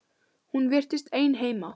Hún virtist ein heima.